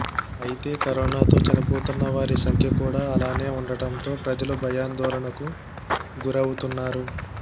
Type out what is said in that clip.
అయితే కరోనాతో చనిపోతున్న వారి సంఖ్య కూడా అలానే ఉండటంతో ప్రజలు భయాందోళనకు గురవుతున్నారు